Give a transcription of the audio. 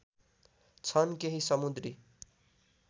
छन् केही समुद्री